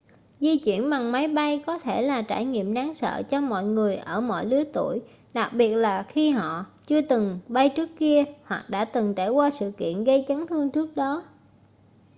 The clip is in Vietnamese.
di chuyển bằng máy bay có thể là trải nghiệm đáng sợ cho mọi người ở mọi lứa tuổi đặc biệt là khi họ chưa từng bay trước kia hoặc đã từng trải qua sự kiện gây chấn thương trước đó